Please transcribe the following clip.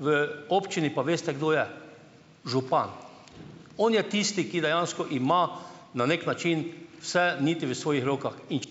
v občini pa veste, kdo je? Župan. On je tisti, ki dejansko ima na neki način vse niti v svojih rokah in ...